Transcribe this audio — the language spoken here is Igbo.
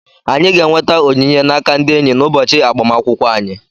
Anyị ga-enweta onyinye n'aka ndị enyị n'ụbọchị agbamakwụkwọ anyị.